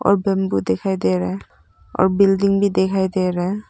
और बंबू दिखाई दे रहा है और बिल्डिंग भी दिखाई दे रहा है।